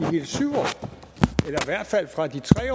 hvert fald fra de tre